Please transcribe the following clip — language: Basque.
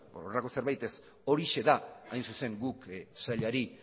horrelako zerbait ez horixe da guk hain zuzen guk sailari